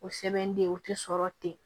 O sɛbɛn de o ti sɔrɔ ten